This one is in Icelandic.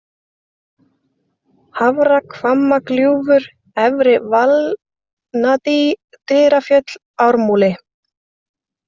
Hafrahvammagljúfur, Efri-Valnadý, Dyrafjöll, Ármúli